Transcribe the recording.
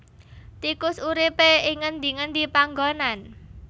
Tikus uripé ing ngendi ngendi panggonan